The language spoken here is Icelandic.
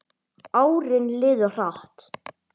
Árin liðu hratt.